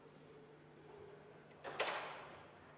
Juhtivkomisjoni seisukoht on jätta arvestamata.